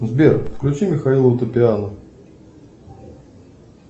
сбер включи михаила утопиана